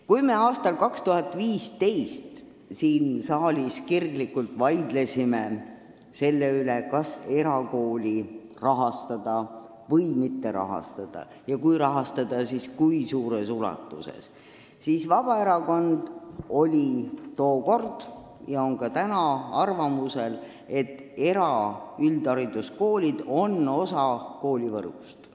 Kui me aastal 2015 siin saalis kirglikult vaidlesime selle üle, kas erakooli rahastada või mitte rahastada ja kui rahastada, siis kui suures ulatuses, siis oli Vabaerakond – ja on ka täna – arvamusel, et eraüldhariduskoolid on osa koolivõrgust.